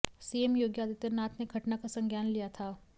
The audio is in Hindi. सीएम योगी आदित्यनाथ ने घटना का संज्ञान लिया था